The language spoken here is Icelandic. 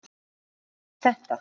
Hverjum gagnast þetta?